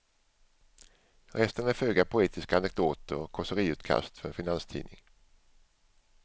Resten är föga poetiska anekdoter och kåseriutkast för en finanstidning.